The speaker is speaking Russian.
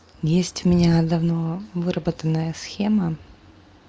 есть у меня давно выработанная схема